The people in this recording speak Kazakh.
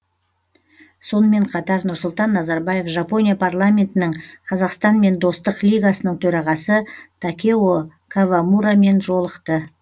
сонымен қатар нұрсұлтан назарбаев жапония парламентінің қазақстанмен достық лигасының төрағасы такео кавамурамен жолықты